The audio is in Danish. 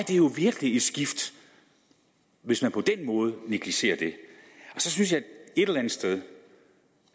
jo virkelig et skifte hvis man på den måde negligerer det så synes jeg et eller andet sted det